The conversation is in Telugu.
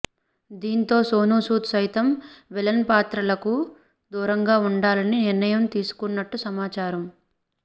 దీంతో సోనూసూద్ సైతం విలన్ పాత్రలకు దూరంగా ఉండాలని నిర్ణయం తీసుకున్నట్టు సమాచారం